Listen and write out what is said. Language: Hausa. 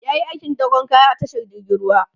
yayi aikin dakon kaya a tashar jirgin ruwa